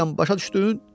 Başa düşdün?